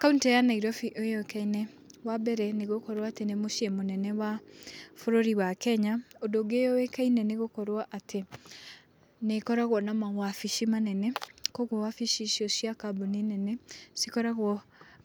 Kuntĩ ya Nairobi yũĩkaine, wa mbere, nĩ gũkorwo nĩ mũciĩ mũnene bũrũri wa Kenya. Ũndũ ũngĩ yũĩkaine nĩ gũkorwo atĩ nĩ ĩkoragwo na mawobici manene, koguo wabici icio cia kambuni nene cikoragwo